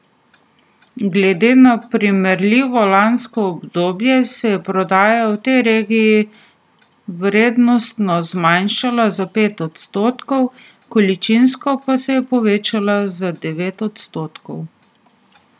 Glede na primerljivo lansko obdobje se je prodaja v tej regiji vrednostno zmanjšala za pet odstotkov, količinsko pa se je povečala za devet odstotkov.